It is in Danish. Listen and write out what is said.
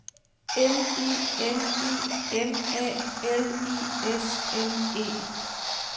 M I N I M A L I S M E